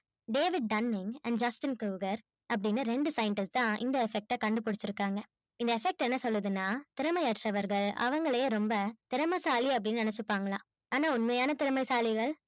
david dunning justin croger அப்பிடின்னு ரெண்டு scientists தான் இந்த effect ஆ கண்டுபிடிச்சி இருக்காங்க இந்த effect என்ன சொல்லுது னா திறமையற்றவர்கள் அவங்களையே ரொம்ப திறமைசாலி அப்பிடின்னு நெனசிப்பாங்கலான் ஆன்னா உண்மையான திறமைசாலிகள்